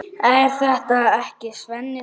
Er þetta ekki Svenni Þórðar?